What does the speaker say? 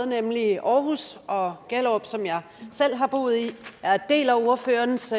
nemlig aarhus og gellerup som jeg selv har boet i jeg deler ordførerens